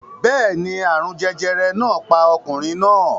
Bẹ́ẹ̀ ni, àrùn jẹjẹrẹ náà pa ọkùnrin náà